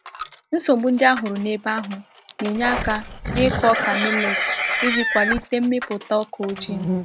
Nsogbu ndị a hụrụ n’ebe ahụ na-enye aka n’ịkụ ọka millet iji kwalite mmịpụta ọka ọjị.